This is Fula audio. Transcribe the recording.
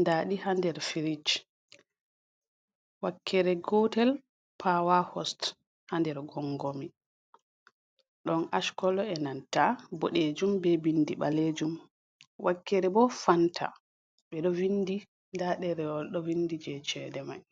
Nda ɗi ha nder firij wakkere gotel pawa hos ha nder gongomi ɗon ash kolo e nanta boɗejum ɓe vindi ɓalejum. Wakkere bo Fanta ɓe ɗo vindi nda ɗerewol ɗo vindi je chede mai.